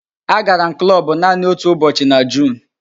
Agara m klọbụ naanị otu ụbọchị​ na Juun